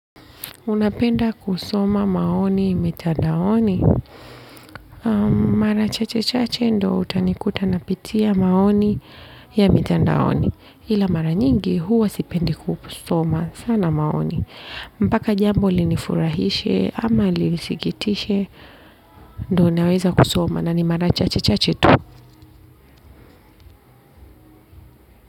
Unapenda kusoma maoni mitandaoni. Mara chache chache ndo utanikuta napitia maoni ya mitandaoni. Ila mara nyingi huwa sipendi kusoma sana maoni. Mpaka jambo linifurahishe ama lisikitishe ndo naweza kusoma na ni mara chache chache tu.